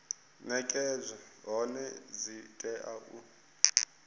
nekedzwa hone dzi tea u